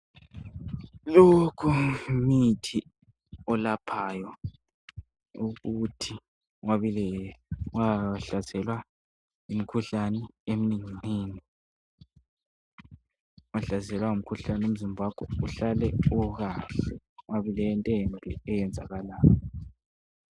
Lokhu yimithi, olapgayo. Ukuthi ungahlaselwa yimikhuhlane, eminenginengi. Ungahlaselwa yimikhuhlane. Umzimba wakho, uhlale ukahle. Kungabi lento embi eyenzakalayo.